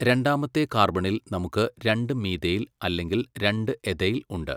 രണ്ടാമത്തെ കാർബണിൽ നമുക്ക് രണ്ട് മീഥൈൽ അല്ലെങ്കിൽ രണ്ട് എഥൈൽ ഉണ്ട്.